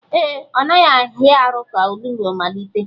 Ee, ọ naghị ahịa arụ ka onugbu malite